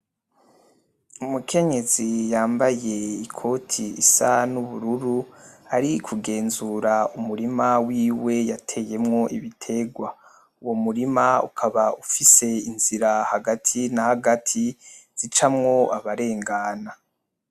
Umukenyezi yambaye ikoti isa n'ubururu ari kugenzura umurima wiwe yateyemwo ibitegwa. Uwo murima ukaba ufise inzira hagati na hagati zicamwo abarengana.